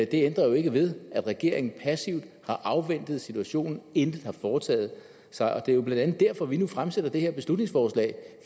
det ændrer jo ikke ved at regeringen passivt har afventet situationen intet har foretaget sig det er jo blandt andet derfor vi nu har fremsat det her beslutningsforslag